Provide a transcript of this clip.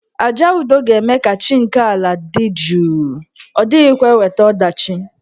Àjà udo ga-eme ka chi nke ala dị jụụ, ọ dịghịkwa eweta ọdachi.